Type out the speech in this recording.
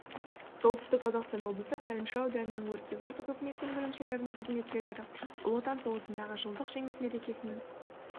солтүстік қазақстан облысы тайынша ауданының өртке қарсы қызметінің бөлімшелерінің қызметкерлері ұлы отан соғысындағы жылдық жеңіс мерекесінің